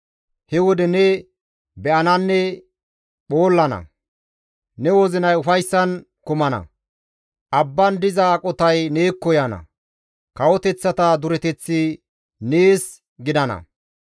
He wode ne be7ananne phoollana; ne wozinay ufayssan kumana; abban diza aqotay neekko yaana; kawoteththata dureteththi nees gidana.